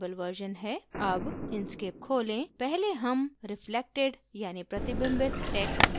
अब inkscape खोलें पहले हम reflected यानि प्रतिबिंबित text बनाना सीखेंगे